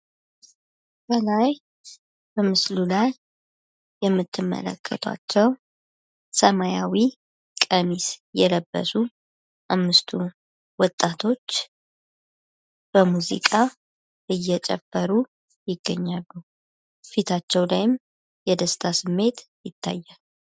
ከላይ የምትመለከቷቸው ሰማያዊ ቀሚስ የለበሱ አምስቱ ወጣቶች በሙዚቃ እየጨፈሩ ይገኛሉ። ፊታቸው ላይም የደስታ ስሜት ይታያል።